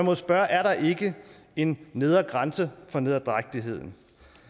jo spørge er der ikke en nedre grænse for nederdrægtigheden